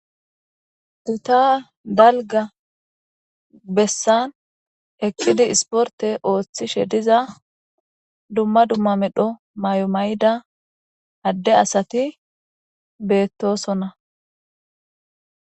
Gita dalga bessan hekkidi isporte ooththishe diza dumma dumma medho may7omayida adde asati beettosonna